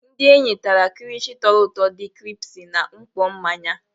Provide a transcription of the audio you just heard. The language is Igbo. Ndị enyi tara kilishi toru ụtọ di kiripsi na mkpọ mmanya.